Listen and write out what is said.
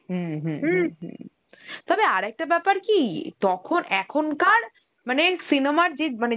হম হম হম হম, তবে আর একটা বেপার কি তখন এখনকার মানে cinema র যে মানে